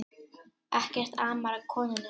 Ekkert amar að konunni